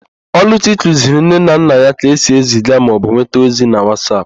Ọlụchi kụziri nne na nna ya ka esi eziga maọbụ nweta ọzi na Wasap